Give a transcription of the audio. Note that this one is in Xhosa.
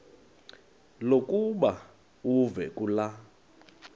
lokuba uve kulaa